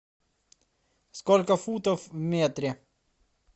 сколько футов в метре